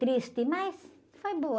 Triste, mas foi boa.